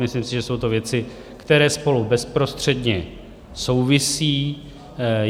Myslím si, že jsou to věci, které spolu bezprostředně souvisí.